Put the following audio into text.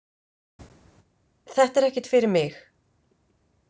Þetta er ekkert fyrir mig.